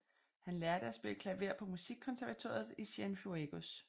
Han lærte at spille klaver på musikkonservatoriet i Cienfuegos